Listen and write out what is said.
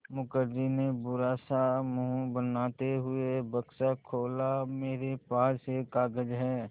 मुखर्जी ने बुरा सा मुँह बनाते हुए बक्सा खोला मेरे पास एक कागज़ है